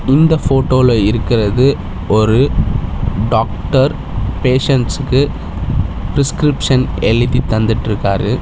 இந்த போட்டோல இருக்கிறது ஒரு டாக்டர் பேஷண்ட்ஸ்க்கு பிரிஸ்கிரிப்ஷன் எழுதி தந்துட்ருக்காரு.